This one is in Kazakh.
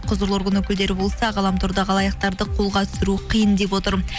құзырлы орган өкілдері болса ғаламтордағы алаяқтарды қолға түсіру қиын деп отыр